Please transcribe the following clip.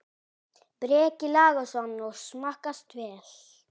Breki Logason: Og smakkast vel?